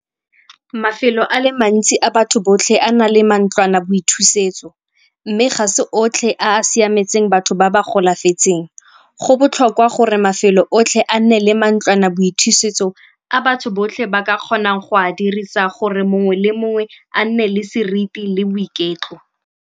Mafelo a le mantsi a batho botlhe a na le mantlwanaboithusetso mme ga se otlhe a a siametseng batho ba ba golafetseng. Go botlhokwa gore mafelo otlhe a nne le mantlwanaboithusetso a batho botlhe ba ka kgonang go a dirisa gore mongwe le mongwe a nne le seriti le boiketlo.